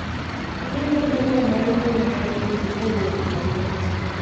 ng'i ane barua mar mbui mar email kowuok kuom Oloo